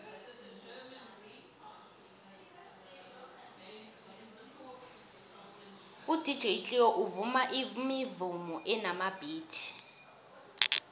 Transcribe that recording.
udj cleo uvuma imivumo enamabhithi